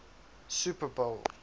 super bowl